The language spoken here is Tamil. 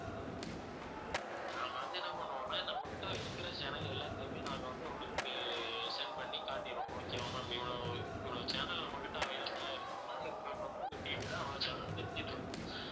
நாங்க வந்து என்ன பண்ணுவோம்னா நம்ம கிட்ட இருக்குற channel எல்லாத்தையுமே நாங்க வந்து உங்களுக்கு send பண்ணி காட்டிடுவோம் okay வா ma'am இவ்வளவு இவ்வளவு channel நம்மகிட்ட available ஆ இருக்குதுனா உங்களுக்கு வந்து உங்க TV ல அவ்வளவு channel தெரிஞ்சிட்டிருக்கும்